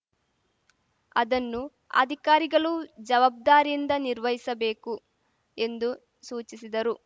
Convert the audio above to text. ಅದನ್ನು ಅಧಿಕಾರಿಗಳು ಜವಾಬ್ದಾರಿಯಿಂದ ನಿರ್ವಹಿಸಬೇಕು ಎಂದು ಸೂಚಿಸಿದರು